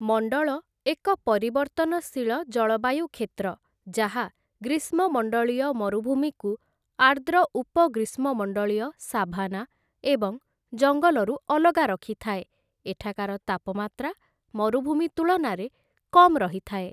ମଣ୍ଡଳ, ଏକ ପରିବର୍ତ୍ତନଶୀଳ ଜଳବାୟୁ କ୍ଷେତ୍ର ଯାହା ଗ୍ରୀଷ୍ମମଣ୍ଡଳୀୟ ମରୁଭୂମିକୁ ଆର୍ଦ୍ର ଉପ ଗ୍ରୀଷ୍ମମଣ୍ଡଳୀୟ ସାଭାନା ଏବଂ ଜଙ୍ଗଲରୁ ଅଲଗା ରଖିଥାଏ, ଏଠାକାର ତାପମାତ୍ରା ମରୁଭୂମି ତୁଳନାରେ କମ୍ ରହିଥାଏ ।